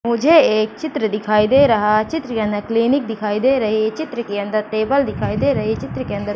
मुझे एक चित्र दिखाई दे रहा है चित्र यानी क्लिनिक दिखाई दे रही है चित्र के अंदर टेबल दिखाई दे रही है चित्र के अंदर --